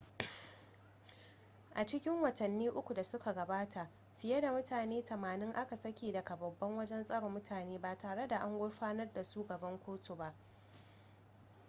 a cikin watanni 3 da suka gabata fiye da mutane 80 a ka saki daga babban wajen tsare mutane ba tare da an gurfanar da su gaban kotu ba